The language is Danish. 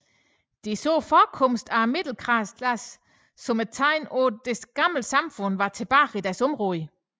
De så forekomsten af middelklassen som et tegn på at det gamle samfund var tilbage i deres områder